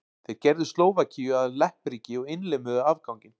Þeir gerðu Slóvakíu að leppríki og innlimuðu afganginn.